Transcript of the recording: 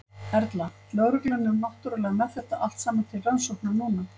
Erla: Lögreglan er náttúrulega með þetta allt saman til rannsóknar núna?